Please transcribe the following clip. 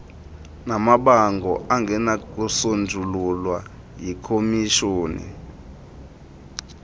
namabango angenakusonjululwa yikhomishoni